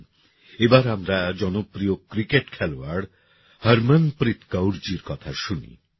আসুন এবার আমরা জনপ্রিয় ক্রিকেট খেলোয়াড় হরমনপ্রীত কৌর জির কথা শুনি